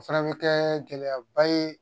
O fana bɛ kɛ gɛlɛyaba ye